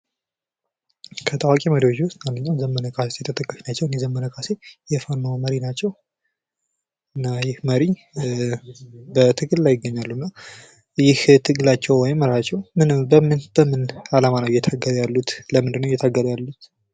ከታዋቂ መሪዎች ውስጥ አንደኛው ዘመነ ካሴ ተጠቃሽ ናቸው። እንግዲህ ዘመነ ካሴ የፋኖ መሪ ናቸው። እና ይህ መሪ በትግል ላይ ይገኛሉ እና ይህ ትግላቸው ወይም መርሐቸው በምን ዓላማ ነው እየታገሉ ያሉት ለምንድነው የታገሉ ያሉት?